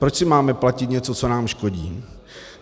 Proč si máme platit něco, co nám škodí?